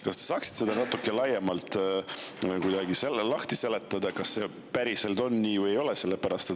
Kas te saaksite selle kuidagi lahti seletada, kas see päriselt on nii või ei ole?